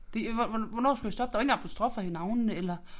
Det øh hvornår skulle jeg stoppe der var ingen apostrofer i navnene eller